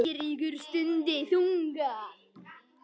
Eiríkur stundi þungan.